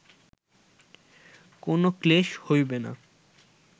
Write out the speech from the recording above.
কোন ক্লেশ হইবে না